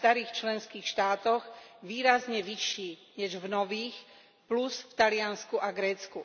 starých členských štátoch výrazne vyšší než v nových, plus v Taliansku a Grécku.